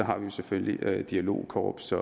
har vi selvfølgelig dialogkorps